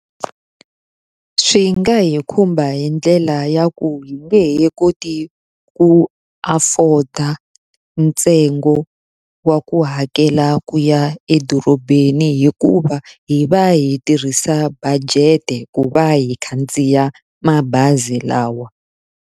Swi nga hi khumba hi ndlela ya ku hi nge he koti ku afford-a ntsengo wa ku hakela ku ya edorobeni hikuva, hi va hi tirhisa budget-e ku va hi khandziya mabazi lawa.